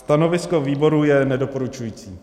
Stanovisko výboru je nedoporučující.